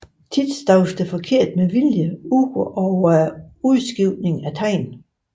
Ofte staves der forkert med vilje ud over udskiftningen af tegn